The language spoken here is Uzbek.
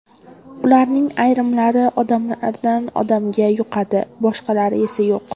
Ularning ayrimlari odamdan odamga yuqadi, boshqalari esa yo‘q.